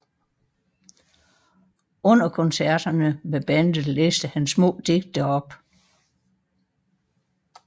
Under koncerterne med bandet læste han små digte op